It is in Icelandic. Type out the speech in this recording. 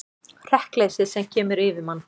Hrekkleysið sem kemur yfir mann.